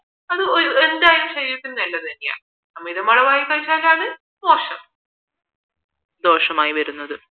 അത് എന്തായാലും ശരീരത്തിന് നല്ലത് തന്നെയാ അമിതാളവിൽ കഴിച്ചാലാണ് മോശം ദോഷമായി വരുന്നത്